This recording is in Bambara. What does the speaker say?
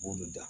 B'olu da